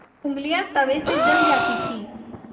ऊँगलियाँ तवे से जल जाती थीं